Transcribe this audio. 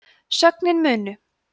sögnin munu